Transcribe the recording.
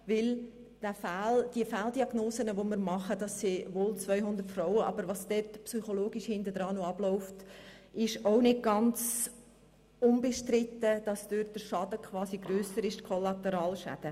Denn die möglichen Fehldiagnosen betreffen 200 Frauen und es ist nicht ganz unbestritten, dass mit dem, was dort psychologisch im Hintergrund noch abläuft, die Kollateralschäden quasi grösser sind.